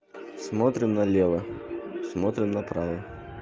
смотрим налево смотрим на право